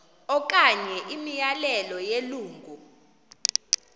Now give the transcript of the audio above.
okanye imiyalelo yelungu